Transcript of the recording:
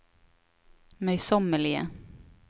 møysommelige